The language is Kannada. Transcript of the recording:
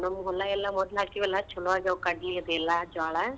ನಮ್ ಹೊಲ ಎಲ್ಲಾ ಮೊದ್ಲ ಹಾಕಿವೆಲಾ ಛಲೋ ಆಗ್ಯಾವ ಕಡ್ಲಿ ಅದೆಲ್ಲಾ ಜ್ವಾಳ.